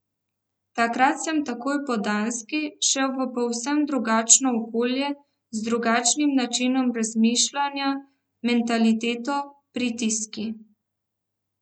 Takrat sem takoj po Danski šel v povsem drugačno okolje, z drugačnim načinom razmišljanja, mentaliteto, pritiski...